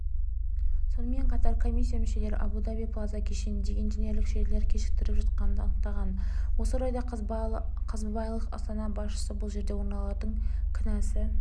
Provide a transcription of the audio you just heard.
сонымен қатар комиссия мүшелері абу даби плаза кешеніндегі инженерлік желілер кешіктіріліп жатқанын анықтаған осы орайда қазбайлық-астана басшысы бұл жерде олардың кінәсі